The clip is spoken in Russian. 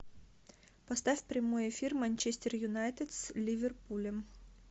поставь прямой эфир манчестер юнайтед с ливерпулем